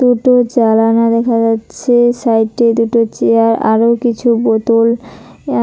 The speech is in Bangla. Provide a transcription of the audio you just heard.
দুটো জালানা দেখা যাচ্ছে সাইটে দুটো চেয়ার আরো কিছু বোতল